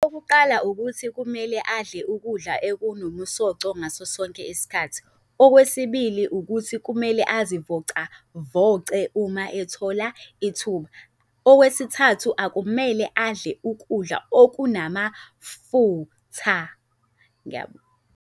Okokuqala, ukuthi kumele adle ukudla okunomusoco ngaso sonke isikhathi. Okwesibili, ukuthi kumele azivocavoce uma ethola ithuba. Okwesithathu, akumele adle ukudla okunamafitha. Ngiyabonga.